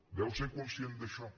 deu ser conscient d’això